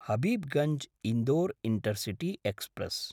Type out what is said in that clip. Habibganj Indore intercity express